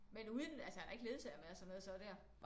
Men uden altså han har ikke ledsager med og sådan noget så der